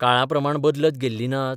काळाप्रमाण बदलत गेल्लीं नात?